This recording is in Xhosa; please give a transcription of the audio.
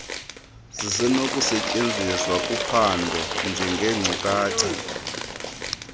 zisenokusetyenziswa kuphando njengeenkcukacha